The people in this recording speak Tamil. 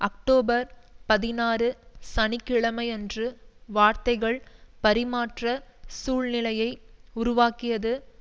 அக்டோபர் பதினாறு சனி கிழமையன்று வார்த்தைகள் பரிமாற்றச் சூழ்நிலையை உருவாக்கியது